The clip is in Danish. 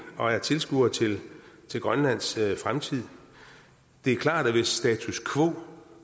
og er tilskuere til til grønlands fremtid det er klart at hvis en status quo